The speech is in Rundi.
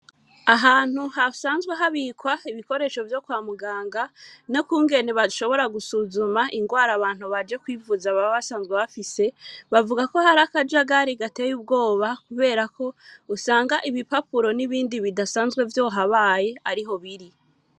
Ahantu hasanzwe habikwa ibikoresho vyo kwa muganga no kungene bashobora gusuzuma ingwara abantu baje kwivuza baba basanzwe bafise bavuga ko hari akajagari gateye ubwoba kuberako usanga ibipapuro n'ibindi bidasanzwe vyohabaye ariho biri.